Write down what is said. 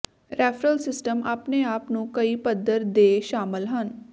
referral system ਆਪਣੇ ਆਪ ਨੂੰ ਕਈ ਪੱਧਰ ਦੇ ਸ਼ਾਮਲ ਹਨ